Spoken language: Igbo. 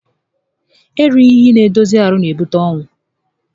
Erighi ihe n'edozi ahụ n'ebute ọnwụ